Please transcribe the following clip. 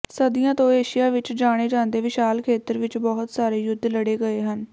ਸਦੀਆਂ ਤੋਂ ਏਸ਼ੀਆ ਵਿਚ ਜਾਣੇ ਜਾਂਦੇ ਵਿਸ਼ਾਲ ਖੇਤਰ ਵਿਚ ਬਹੁਤ ਸਾਰੇ ਯੁੱਧ ਲੜੇ ਗਏ ਹਨ